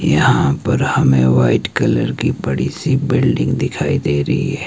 यहां पर हमे व्हाईट कलर की बड़ी सी बिल्डिंग दिखाई दे रही हैं।